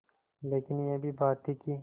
लेकिन यह भी बात थी कि